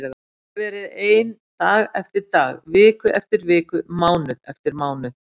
Ég hefi verið ein dag eftir dag, viku eftir viku, mánuð eftir mánuð.